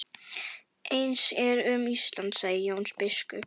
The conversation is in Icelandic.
Eins er um Ísland, sagði Jón biskup.